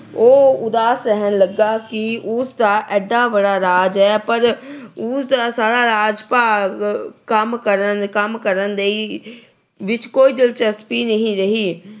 ਉਹ ਉਦਾਸ ਰਹਿਣ ਲੱਗਾ ਕਿ ਉਸ ਦਾ ਏਡਾ ਵੱਡਾ ਰਾਜ ਹੈ ਪਰ ਉਸ ਦਾ ਸਾਰਾ ਰਾਜ ਭਾਗ ਕੰਮ ਕਰਨ ਲਈ ਅਹ ਕੰਮ ਕਰਨ ਵਿੱਚ ਕੋਈ ਦਿਲਚਸਪੀ ਨਹੀਂ ਰਹੀ।